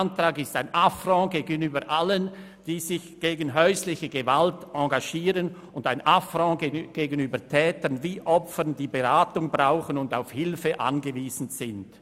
Er ist ein Affront gegenüber allen, die sich gegen häusliche Gewalt engagieren und ein Affront gegenüber Tätern wie Opfern, welche die Beratung brauchen und auf Hilfe angewiesen sind.